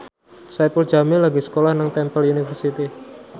Saipul Jamil lagi sekolah nang Temple University